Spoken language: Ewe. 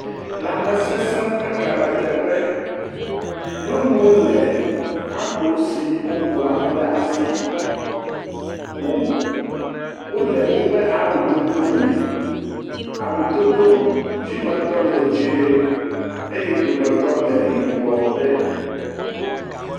Lãme sesẽ ƒe hame teƒe. Nyɔnuwo le abo siwo goa kple asi ƒom. Wòle woƒe awu dodo me. Awu dodo dzi me tɔ le dzɛ eye eɖome tɔ le yibɔ ɖe.